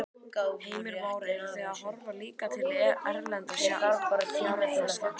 Heimir Már: Eruð þið að horfa líka til erlendra fjárfesta?